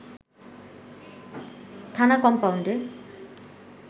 থানা কমপাউন্ডে